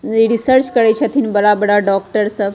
ये रिसर्च करी छथिन बड़ा-बड़ा डॉक्टर सब।